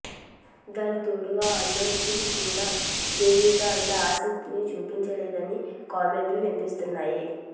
దానికి తోడు అల్లు అర్జున్ కూడా దేవీపై అంత ఆసక్తిని చూపడం లేదని కామెంట్లు వినిపించాయి